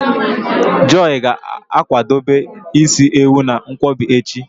Joy ga-akwadebe isi ewu na nkwobi echi